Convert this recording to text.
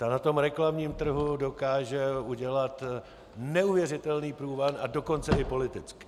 Ta na tom reklamním trhu dokáže udělat neuvěřitelný průvan, a dokonce i politicky.